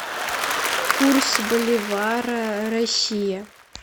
курс боливара россия